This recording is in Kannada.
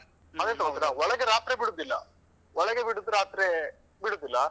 ಮತ್ತೆ ಎಂತ ಗೊತ್ತುಂಟ ಒಳಗೆ ರಾತ್ರಿ ಬಿಡುದಿಲ್ಲ ಒಳಗೆ ಬಿಡುದು ರಾತ್ರೆ ಬಿಡುದಿಲ್ಲ.